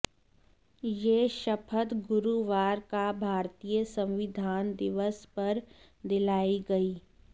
ये शपथ गुरुवार का भारतीय संविधान दिवस पर दिलाई गई